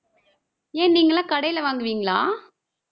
ஏன், நீங்க எல்லாம் கடையில வாங்குவீங்களா